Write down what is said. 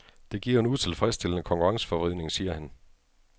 Det giver en utilfredsstillende konkurrenceforvridning, siger han.